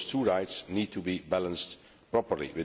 Those two rights need to be balanced properly.